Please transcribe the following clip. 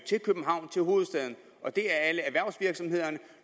til københavn til hovedstaden det er alle erhvervsvirksomhederne